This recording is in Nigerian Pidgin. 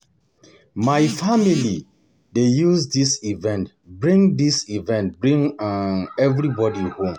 My family dey use dis event bring dis event bring um everybody home every year.